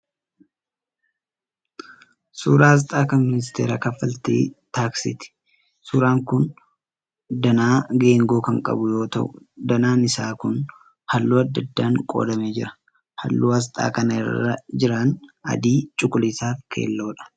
Suuraa asxaa kan ministeera kaffaltii taaksiiti. Suuraan kun danaa geengoo kan qabu yoo ta'u danaan isaa kun halluu adda addaan qoodamee jira. Halluun asxaa kana irra jiran adii, cuquliisaa fi keelloodha.